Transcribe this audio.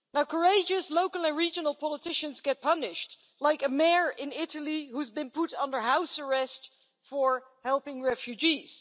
Courageous local and regional politicians get punished, like a mayor in Italy who has been put under house arrest for helping refugees.